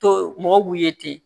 To mɔgɔw b'u ye ten